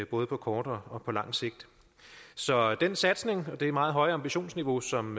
både kort og og lang sigt så den satsning og det meget høje ambitionsniveau som